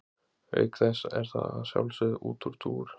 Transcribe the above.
Auk þess er það að sjálfsögðu útúrdúr.